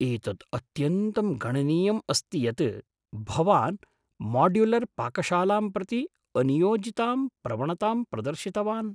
एतत् अत्यन्तं गणनीयम् अस्ति यत् भवान् माड्युलर् पाकशालां प्रति अनियोजितां प्रवणताम् प्रदर्शितवान्।